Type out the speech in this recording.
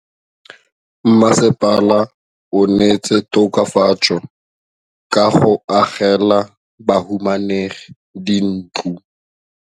Mmasepala o neetse tokafatsô ka go agela bahumanegi dintlo.